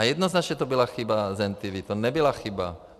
A jednoznačně to byla chyba Zentivy, to nebyla chyba...